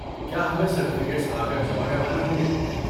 کیا ہمیں سرٹیفکیٹس آ کر جمع کروانے ہوں گے؟